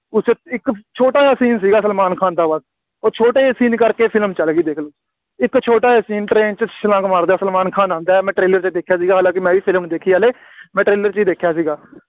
ਉਸ 'ਚ ਇੱਕ ਛੋਟਾ ਜਿਹਾ scene ਸੀਗਾ ਸਲਮਾਨ ਖਾਨ ਦਾ ਬੱਸ ਉਹ ਛੋਟੇ ਜਿਹੇ scene ਕਰਕੇ ਫਿਲਮ ਚੱਲ ਗਈ ਦੇਖ ਲਓ, ਇੱਕ ਛੋਟਾ ਜਿਹਾ scene train 'ਚ ਛਲਾਂਗ ਮਾਰਦਾ ਸਲਮਾਨ ਖਾਨ ਆਉਂਦਾ, ਮੈਂ trailer 'ਚ ਦੇਖਿਆ ਸੀ, ਹਲਾਂਕਿ ਮੈਂ ਵੀ ਫਿਲਮ ਨਹੀਂ ਦੇਖੀ, ਹਲੇ, ਮੈਂ trailer 'ਚ ਹੀ ਦੇਖਿਆ ਸੀਗਾ,